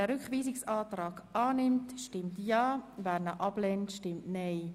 Wer den Rückweisungsantrag annimmt, stimmt Ja, wer ihn ablehnt, stimmt Nein.